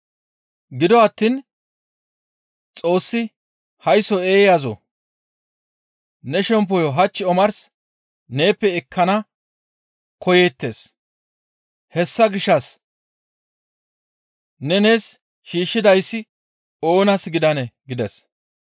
«Gido attiin, ‹Xoossi haysso eeyazoo! Ne shemppoyo hach omars neeppe ekkana koyeettes; hessa gishshas ne nees shiishshidayssi oonas gidanee?› gides.